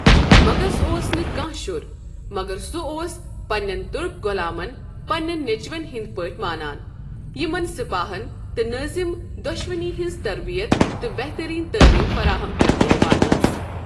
مغس اوس نہٕ کانٛہہ شُر، مگر سُہ اوس پننٮ۪ن تُرک غۄلامن پننٮ۪ن نیچوٮ۪ن ہٕنٛدۍ پٲٹھۍ مانان، یِمَن سپاہن تہٕ نٲظِم دۄشوٕنی ہنٛز تربیت تہٕ بہتریٖن تٲلیم فراہم کرنہٕ یِوان ٲس ۔